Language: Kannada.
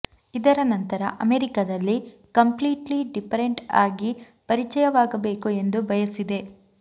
ಇದರ ನಂತರ ಅಮೆರಿಕದಲ್ಲಿ ಕಂಪ್ಲೀಟ್ಲಿ ಡಿಫರೆಂಟ್ ಆಗಿ ಪರಿಚಯವಾಗಬೇಕು ಎಂದು ಬಯಸಿದೆ